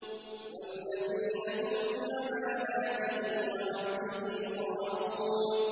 وَالَّذِينَ هُمْ لِأَمَانَاتِهِمْ وَعَهْدِهِمْ رَاعُونَ